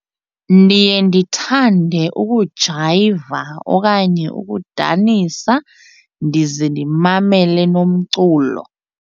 Ndiye ndithande ukujayiva okanye ukudanisa ndize ndimamele nomculo.